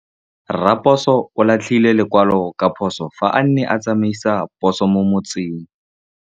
Raposo o latlhie lekwalô ka phosô fa a ne a tsamaisa poso mo motseng.